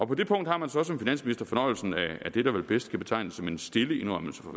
på det punkt har man så som finansminister fornøjelsen af det der vel bedst kan betegnes som en stille indrømmelse fra